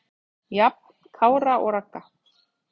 Jafn Kára og Ragga.